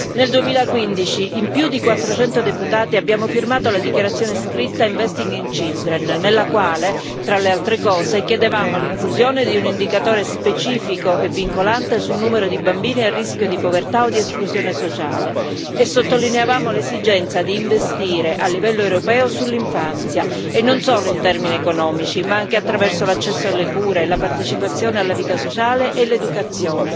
Nel 2015 in più di 400 deputati abbiamo firmato la dichiarazione scritta Investing in Children nella quale, tra le altre cose, chiedevamo l'inclusione di un indicatore specifico e vincolante sul numero di bambini a rischio di povertà o di esclusione sociale e sottolineavamo l'esigenza di investire a livello europeo sull'infanzia e non solo in termini economici, ma anche attraverso l'accesso alle cure e la partecipazione alla vita sociale e l'educazione,